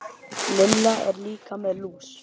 Lilla er líka með lús.